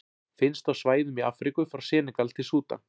Finnst á svæðum í Afríku frá Senegal til Súdan.